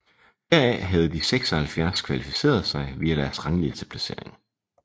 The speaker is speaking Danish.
Heraf havde de 76 kvalificeret sig via deres ranglisteplacering